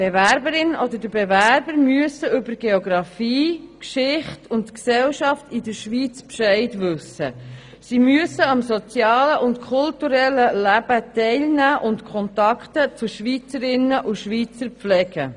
Die Bewerberin oder der Bewerber muss über Geografie, Geschichte und Gesellschaft der Schweiz Bescheid wissen, am sozialen und kulturellen Leben teilnehmen und Kontakte zu Schweizerinnen und Schweizern pflegen.